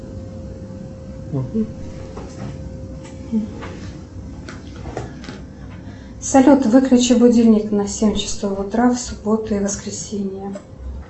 салют выключи будильник на семь часов утра в субботу и воскресенье